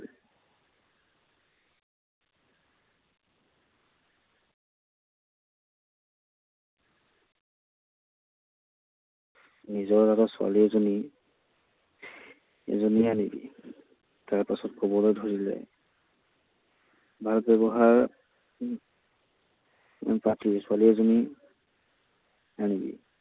নিজৰ লগৰ ছোৱালী এজনী সেইজনীয়ে আনিবি। তাৰপাছত কবলৈ ধৰিলে, ভাল ব্যৱহাৰউম পাতি ছোৱালী এজনী আনিবি।